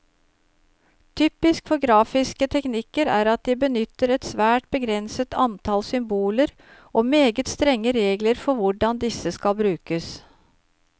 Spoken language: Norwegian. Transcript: Typisk for grafiske teknikker er at de benytter et svært begrenset antall symboler, og meget strenge regler for hvordan disse skal brukes.